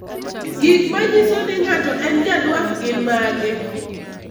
Gik manyiso ni ng'ato en Ja Dwarf gin mage?